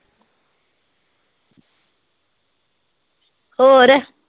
ਹੋਰ